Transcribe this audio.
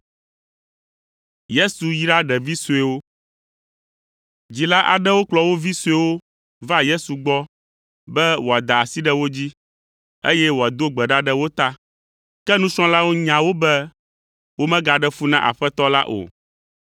Dzila aɖewo kplɔ wo vi suewo va Yesu gbɔ be wòada asi ɖe wo dzi, eye wòado gbe ɖa ɖe wo ta. Ke nusrɔ̃lawo nya wo be womegaɖe fu na Aƒetɔ la o.